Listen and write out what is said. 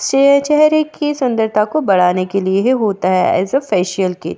यह चहरे की सुंदरता को बढ़ाने के लिया होता है फेसिअल किट ।